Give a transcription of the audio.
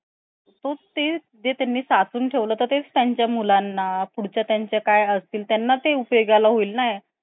कुठंही समजा metro station वर तुम्ही आहात पण कुठच काही हे नाहीये अं काहीच english मधे नाही लिहिलंय पण तरी त्यांचा ते sign अशा त्यांनी बनवलाय कि तुम्हाला problem नाय येणार तुम्ही manage करू शकाल